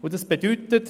Das bedeutet: